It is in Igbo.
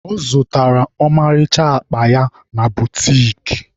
Ọ zụtara ọmarịcha akpa ya na butiki.